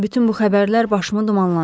Bütün bu xəbərlər başımı dumanlandırıb.